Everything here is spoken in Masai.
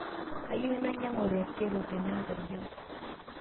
Kayieu nainyangu rekreko tenengojiang